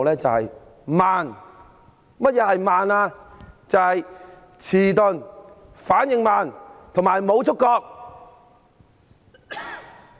就是遲鈍、反應慢，以及無觸覺。